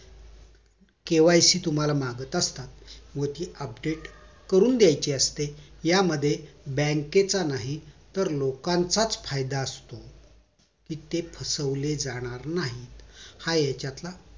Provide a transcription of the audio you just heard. KYC तुम्हाला मागत असतात व ती update करून द्यायची करून असते या मध्ये बँकेचा नाही तर लोकांचाच फायदा असतो कि ते फसवले जाणार नाहीत हा यांच्यातला